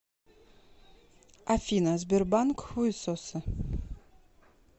афина сбербанк хуесосы